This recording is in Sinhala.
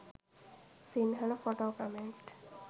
sinhala photo comment